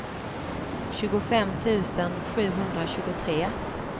tjugofem tusen sjuhundratjugotre